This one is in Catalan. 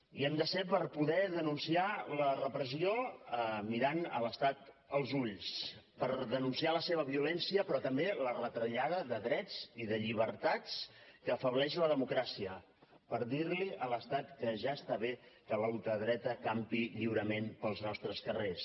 hi hem de ser per poder denunciar la repressió mirant l’estat als ulls per denunciar la seva violència però també la retallada de drets i de llibertats que afebleix la democràcia per dir li a l’estat que ja està bé que la ultradreta campi lliurement pels nostres carrers